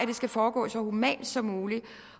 det skal foregå så humant som muligt